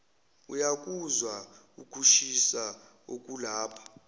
uyakuzwa ukushisa okulapha